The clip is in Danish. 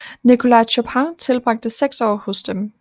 Nicolas Chopin tilbragte seks år hos dem